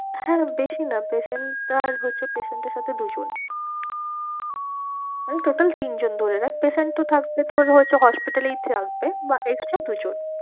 হ্যাঁ বেশি না patient আর হচ্ছে patient এর সাথে দু জন মানে total তিন জন ধরে রাখ। patient তো থাকবে তোর হচ্ছে hospital এই থাকবে বা extra দু জন।